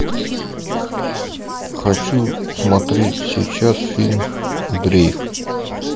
хочу смотреть сейчас фильм дрейф